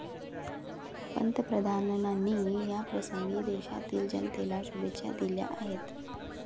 पंतप्रधानांनी याप्रसंगी देशातील जनतेला शुभेच्छा दिल्या आहेत.